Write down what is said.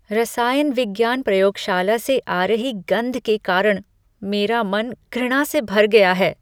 रसायन विज्ञान प्रयोगशाला से आ रही गंध के कारण मेरा मन घृणा से भर गया है।